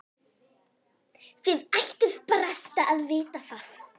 Þið ættuð barasta að vita það.